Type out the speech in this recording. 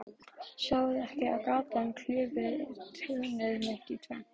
Sjáið þið ekki, að gatan klyfi túnið mitt í tvennt?